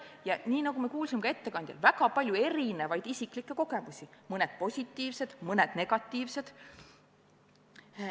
Ja nii, nagu me kuulsime ka ettekandes, väga palju erinevaid isiklikke kogemusi – mõned positiivsed, mõned negatiivsed.